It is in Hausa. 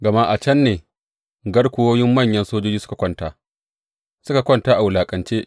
Gama a can ne garkuwoyin manyan sojoji suka kwanta, suka kwanta a wulaƙance.